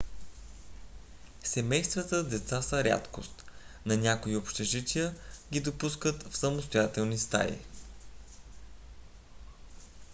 семействата с деца са рядкост но някои общежития ги допускат в самостоятелни стаи